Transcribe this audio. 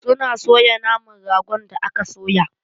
Suna soya naman ragon da aka soya.